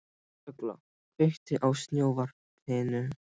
Ugla, kveiktu á sjónvarpinu.